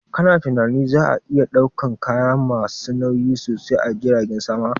Ka na tunanin za a iya ɗaukan kaya ma su nauyi sosai a jiragen sama?